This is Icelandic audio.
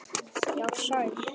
Já, sæl.